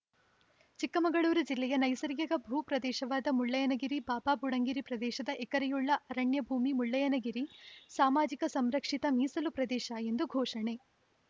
ಚಿಕ್ಕಮಗಳೂರು ಜಿಲ್ಲೆಯ ನೈಸರ್ಗಿಕ ಭೂಪ್ರದೇಶವಾದ ಮುಳ್ಳಯ್ಯನ ಗಿರಿಬಾಬಾಬುಡನ್‌ಗಿರಿ ಪ್ರದೇಶದ ಎಕರೆಯುಳ್ಳ ಅರಣ್ಯ ಭೂಮಿ ಮುಳ್ಳಯ್ಯನ ಗಿರಿ ಸಾಮಾಜಿಕ ಸಂರಕ್ಷಿತ ಮೀಸಲು ಪ್ರದೇಶ ಎಂದು ಘೋಷಣೆ